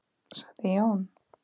sagði Jón.